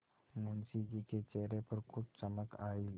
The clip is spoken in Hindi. मुंशी जी के चेहरे पर कुछ चमक आई